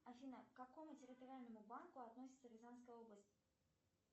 афина к какому территориальному банку относится рязанская область